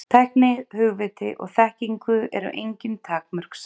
Tækni, hugviti og þekkingu eru engin takmörk sett.